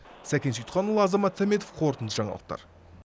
сәкен сейітханұлы азамат сәметов қорытынды жаңалықтар